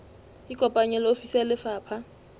ikopanye le ofisi ya lefapha